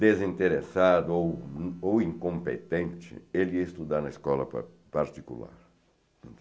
desinteressado ou in ou incompetente, ele ia estudar na escola pa particular.